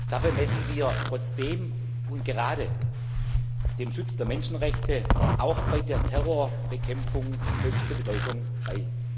Dabei messen wir trotzdem und gerade dem Schutz der Menschenrechte auch bei der Terrorbekämpfung höchste Bedeutung bei.